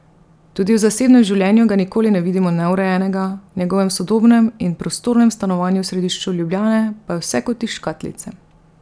Tudi v zasebnem življenju ga nikoli ne vidimo neurejenega, v njegovem sodobnem in prostornem stanovanju v središču Ljubljane pa je vse kot iz škatlice.